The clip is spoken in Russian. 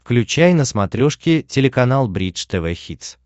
включай на смотрешке телеканал бридж тв хитс